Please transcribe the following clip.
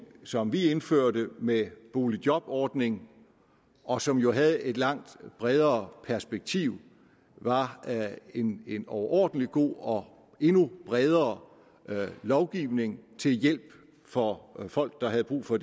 som vi indførte med boligjobordningen og som jo havde et langt bredere perspektiv var en en overordentlig god og endnu bredere lovgivning til hjælp for folk der havde brug for